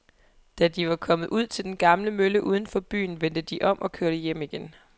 Da de var kommet ud til den gamle mølle uden for byen, vendte de om og kørte hjem igen.